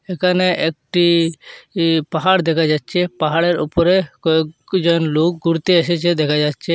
এখানে একটি ই পাহাড় দেখা যাচ্ছে পাহাড়ের ওপরে কয়েকজন লোক ঘুরতে এসেছে দেখা যাচ্ছে।